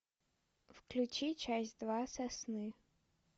включи часть два сосны